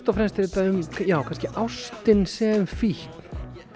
og fremst er þetta um ástina sem fíkn